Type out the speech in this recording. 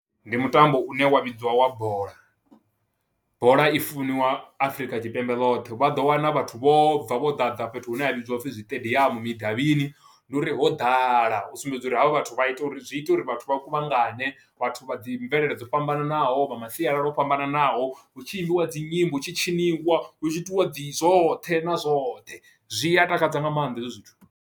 Ndi mutambo une wa vhidzwa wa bola, bola i funiwa Afrika Tshipembe ḽoṱhe vha ḓo wana vhathu vho bva vho ḓadza fhethu hune ha vhidzwa upfhi zwiṱediamu midavhini, ndi uri ho ḓala u sumbedza uri havha vhathu vha ita uri zwi ita uri vhathu vha kuvhangane vhathu vha dzi mvelele dzo fhambananaho vha masialala o fhambananaho, hu tshi imbiwa dzi nyimbo hu tshi tshiniwa hu tshi itiwa dzi zwoṱhe na zwoṱhe zwi a takadza nga maanḓa hezwo zwithu.